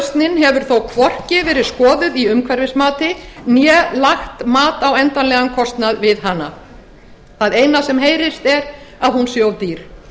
hefur þó hvorki verið skoðuð í umhverfismati né lagt mat á endanlegan kostnað við hana það eina sem heyrist er að hún sé of dýr